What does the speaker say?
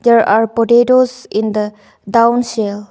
there are potatoes in the down shell.